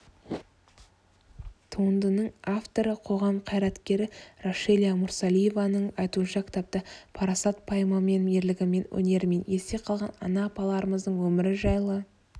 туындының авторы қоғам қайраткері рашиля мұрсалиеваның айтуынша кітапта парасат-пайымымен ерлігімен өнерімен есте қалған ана-апаларымыздың өмірі жайлы